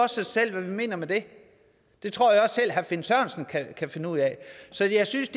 sig selv hvad vi mener med det det tror jeg også selv herre finn sørensen kan finde ud af så jeg synes